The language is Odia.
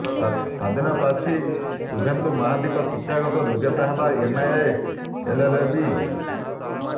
ସ୍ବାଧୀନ ପ୍ରାର୍ଥୀ ଶୁଭେନ୍ଦୁ ମହାନ୍ତିଙ୍କ ଶିକ୍ଷାଗତ ଯୋଗ୍ୟତା ହେଲା ଏମଏ ଏଲଏଲବି